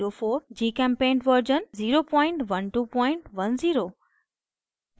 gchempaint version 01210